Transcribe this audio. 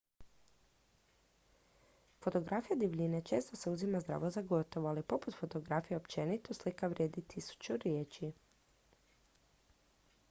fotografija divljine često se uzima zdravo za gotovo ali poput fotografije općenito slika vrijedi tisuću riječi